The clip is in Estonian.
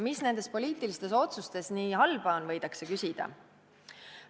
Mis nendes poliitilistes otsustes nii halba on, võidakse küsida.